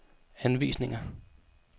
anvisninger